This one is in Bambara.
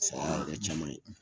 Saya y'a kɛ caman ye